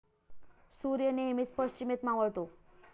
सूर्य नेहमीच पश्चिमेत मावळतो.